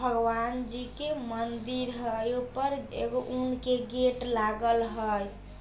भगवान जी के मंदिर हई ऊपर एगो उनके गेट लागल हई ।